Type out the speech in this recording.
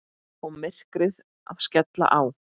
Og myrkrið að skella á.